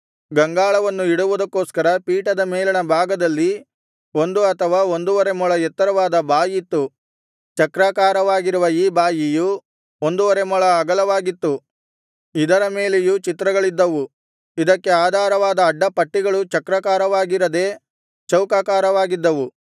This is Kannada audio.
ಗಂಗಾಳವನ್ನು ಇಡುವುದಕ್ಕೋಸ್ಕರ ಪೀಠದ ಮೇಲಣ ಭಾಗದಲ್ಲಿ ಒಂದು ಅಥವಾ ಒಂದುವರೆ ಮೊಳ ಎತ್ತರವಾದ ಬಾಯಿತ್ತು ಚಕ್ರಾಕಾರವಾಗಿರುವ ಈ ಬಾಯಿಯು ಒಂದುವರೆ ಮೊಳ ಅಗಲವಾಗಿತ್ತು ಇದರ ಮೇಲೆಯೂ ಚಿತ್ರಗಳಿದ್ದವು ಇದಕ್ಕೆ ಆಧಾರವಾದ ಅಡ್ಡಪಟ್ಟಿಗಳು ಚಕ್ರಾಕಾರವಾಗಿರದೆ ಚೌಕಾಕಾರವಾಗಿದ್ದವು